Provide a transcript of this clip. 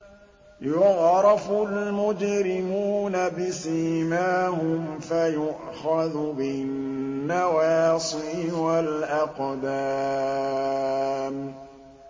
يُعْرَفُ الْمُجْرِمُونَ بِسِيمَاهُمْ فَيُؤْخَذُ بِالنَّوَاصِي وَالْأَقْدَامِ